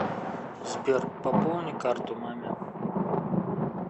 сбер пополни карту маме